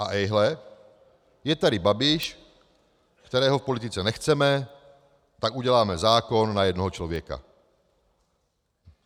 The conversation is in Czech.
A ejhle, je tady Babiš, kterého v politice nechceme, tak uděláme zákon na jednoho člověka.